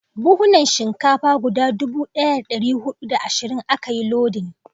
Buhunan Shinkafa guda dubu daya da dari hudu da ashirin a ka yi lodin